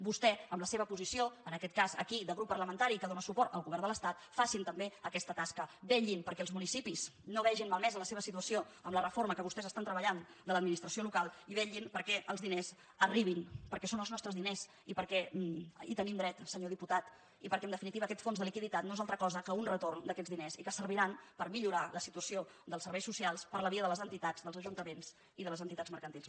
vostès en la seva posició en aquest cas aquí de grup parlamentari que dóna suport al govern de l’estat facin també aquesta tasca vet·llin perquè els municipis no vegin malmesa la seva si·tuació amb la reforma que vostès estan treballant de l’administració local i vetllin perquè els diners arribin perquè són els nostres diners i perquè hi tenim dret senyor diputat i perquè en definitiva aquest fons de liquiditat no és altra cosa que un retorn d’aquests di·ners i que serviran per millorar la situació dels serveis socials per la via de les entitats dels ajuntaments i de les entitats mercantils